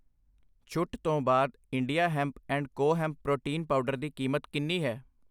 ਛੁੱਟ ਤੋਂ ਬਾਅਦ India hemp and co hemp protein powder ਦੀ ਕੀਮਤ ਕਿੰਨੀ ਹੈ ?